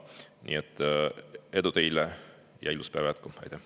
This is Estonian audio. Nii et edu teile ja ilusat päeva jätku!